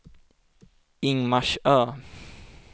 Ingmarsö